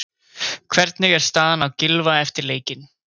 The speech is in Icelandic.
Hvernig er staðan á Gylfa eftir leikinn?